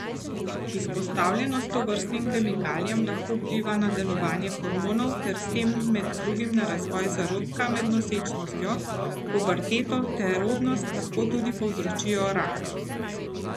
Izpostavljenost tovrstnim kemikalijam lahko vpliva na delovanje hormonov ter s tem med drugim na razvoj zarodka med nosečnostjo, puberteto ter rodnost, lahko tudi povzročajo raka.